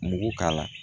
Mugu k'a la